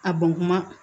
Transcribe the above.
A bɔn kuma